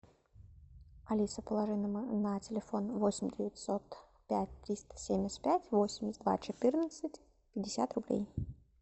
алиса положи на телефон восемь девятьсот пять триста семьдесят пять восемьдесят два четырнадцать пятьдесят рублей